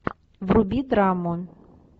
вруби драму